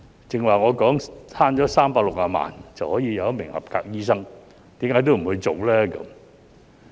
剛才我說節省360萬元，便可多一名合格醫生，為何也不去做呢？